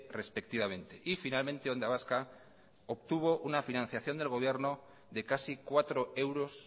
respectivamente y finalmente onda vasca obtuvo una financiación del gobierno de casi cuatro euros